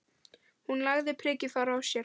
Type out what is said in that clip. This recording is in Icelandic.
Hún lagði prikið frá sér.